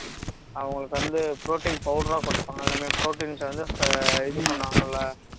அவங்களுக்கு வந்து protein powder ஆ குடுப்பாங்க எல்லாமே proteins வந்து இது பண்ணுவாங்கல